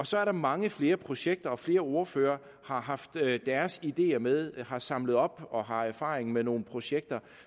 så er der mange flere projekter og flere ordførere har haft deres ideer med har samlet op og har erfaring med nogle projekter